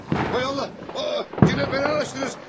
Hay Allah, yenə fenalaşdınız.